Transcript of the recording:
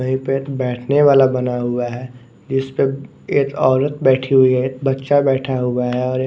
वहीं पे एक बैठने वाला बना हुआ है जिस पर एक औरत बैठी हुई है एक बच्चा बैठा हुआ है और एक --